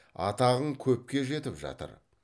атағың көпке жетіп жатыр